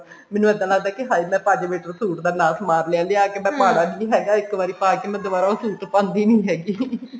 ਮੈਨੂੰ ਇੱਦਾਂ ਲੱਗਦਾ ਹਾਏ ਕਿ ਮੈਂ ਪੰਜ ਮੀਟਰ suit ਦਾ ਨਾਸ ਮਾਰ ਲਿਆ ਲਿਆਕੇ ਮੈਂ ਪਾਣਾ ਨੀ ਹੈਗਾ ਇੱਕ ਵਾਰੀ ਪਾਕੇ ਮੈਂ ਉਹ ਦੁਬਾਰਾ ਉਹ suit ਪਾਂਦੀ ਨੀ ਹੈਗੀ